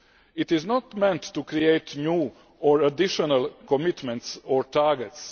It is not meant to create new or additional commitments or targets.